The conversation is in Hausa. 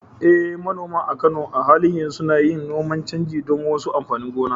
Eh, manoma a Kano a halin yanzu suna yin noman canji don wasu amfanin gona.